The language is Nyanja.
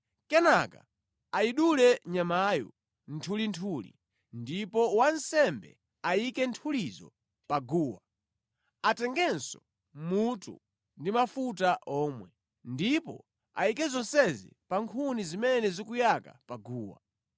Kenaka ayidule nyamayo nthulinthuli, ndipo wansembe ayike nthulizo pa guwa, atengenso mutu ndi mafuta omwe, ndipo ayike zonsezi pa nkhuni zimene zikuyaka pa guwa.